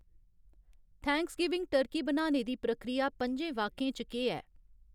Thanksgiving turkey बनाने दी प्रक्रिया पं'जें वाक्यें च केह् ऐ?